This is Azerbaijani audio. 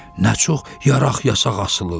Nə çox yaraq-yasaq asılıb.